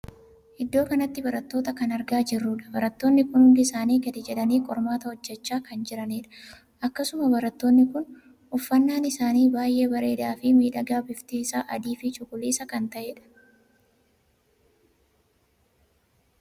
Iddoo kanatti barattoota kan argaa jirtudha. barattoonni kun hundi isaanii gadi jedhanii qormaata hojjechaa kan jiranidha. akkasuma barattoonni kun uffannaan isaanii baay'ee bareedaa fi miidhagaa bifti isaa adii fi cuquliisa kan taheedha.